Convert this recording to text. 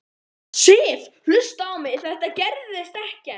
Sif. hlustaðu á mig. það gerist ekkert!